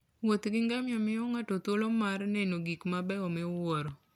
Wuoth gi ngamia miyo ng'ato thuolo mar neno gik mabeyo miwuoro.